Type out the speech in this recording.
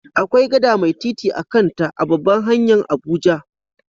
Akwai gada mai titi a'kan ta a'babbar hanya'n Abuja.